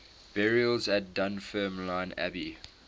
burials at dunfermline abbey